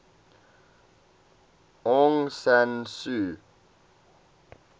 aung san suu